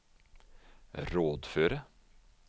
rådføre